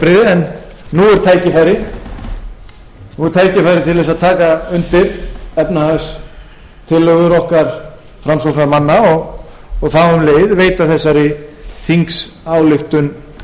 er tækifærið til þess að taka undir efnahagstillögum okkar framsóknarmanna og þá um leið veita þessari þingsályktun brautargengi hún orðast